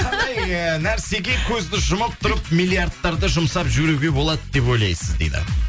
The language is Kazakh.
қандай ы нәрсеге көзді жұмып тұрып миллиардтарды жұмсап жүруге болады деп ойлайсыз дейді